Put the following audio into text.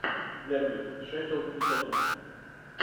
дерби шеффилд и тоттенхэм